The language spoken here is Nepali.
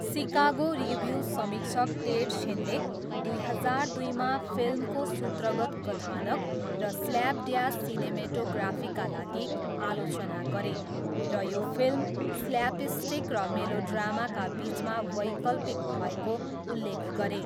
सिकागो रिभ्यू समीक्षक टेड सेनले दुई हजार दुईमा फिल्मको सूत्रगत कथानक र ''स्ल्यापड्यास'' सिनेमेटोग्राफीका लागि आलोचना गरे, र यो फिल्म 'स्ल्यापस्टिक र मेलोड्रामाका बिचमा वैकल्पिक' भएको उल्लेख गरे।